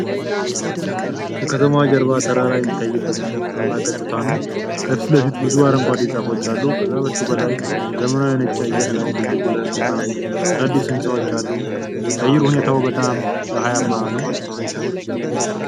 ከከተማዋ ጀርባ ተራራ የሚታይበትን የከተማ ገጽታ ነው። ከፊት ለፊት ብዙ አረንጓዴ ዛፎች አሉ። ከዛፎቹ በላይ ዘመናዊ ነጭ የአየር ላይ ድልድዮች እና አዳዲስ ሕንፃዎች አሉ። የአየር ሁኔታው በጣም ፀሐያማ ነው።